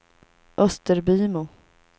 Österbymo